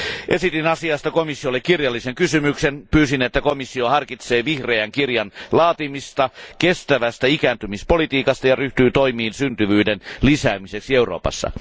Esitin asiasta komissiolle kirjallisen kysymyksen ja pyysin, että komissio harkitsee vihreän kirjan laatimista kestävästä ikääntymispolitiikasta ja ryhtyy toimiin syntyvyyden lisäämiseksi Euroopassa.